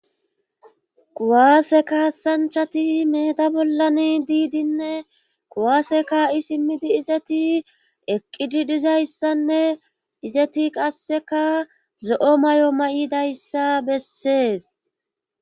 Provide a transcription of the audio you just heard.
kuwaase kaasanchati meeda bollani diidinne kuwaase kaa7i simmidi izeti eqqidi dizayssanne izeti qasseka zo7o mayo mayidayssa bessees.